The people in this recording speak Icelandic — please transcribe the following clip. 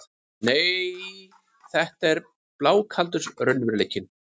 Nei, þetta er blákaldur raunveruleikinn.